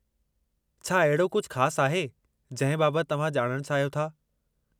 छा अहिड़ो कुझु ख़ासि आहे जंहिं बाबति तव्हां ॼाणणु चाहियो था?